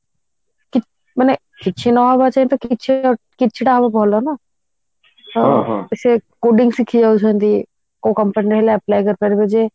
ମାନେ କିଛି ନ ହବାଠୁ ତ କିଛି ଟା ହବା ତ ଭଲ ନା ସେ coding ଶିଖି ଯାଉଛନ୍ତି କୋଉ company ରେ ହେଲେ apply କରି ପାରିବ ଯେ